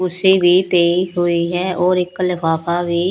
ਕੁਰਸੀ ਵੀ ਪਈ ਹੋਈ ਹੈ ਔਰ ਇੱਕ ਲਫਾਫਾ ਵੀ--